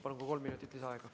Palun, ka kolm minutit lisaaega.